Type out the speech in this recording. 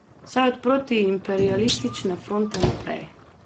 Vsaj od protiimperialistične fronte naprej.